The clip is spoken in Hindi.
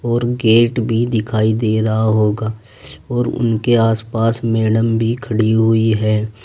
और गेट भी दिखाई दे रहा होगा और उनके आसपास मैडम भी खड़ी हुई है।